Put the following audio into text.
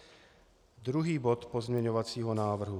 Druhý bod pozměňovacího návrhu.